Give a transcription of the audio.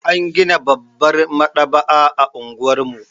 An gina babbar maɗaba'a a unguwar mu.